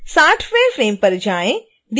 अब 60